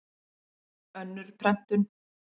Önnur prentun.